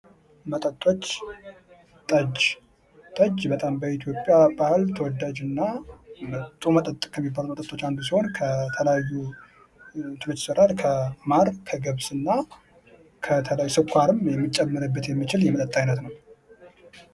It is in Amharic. መጠጦች ጠጅ ጠጅ በጣም በኢትዮጵያ ባህል ተወዳጅና ጥሩ መጠጥ ከሚባሉት ውስጥ አንዱ ሲሆን ከተለያዩ እንትኖች ይሰራል ከማር ከገብስና ከተለያዩ ስኳርም ሊሚጨምርበት የሚችል የመጠጥ አይነት ነው።